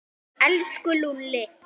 Elsku Lúlli.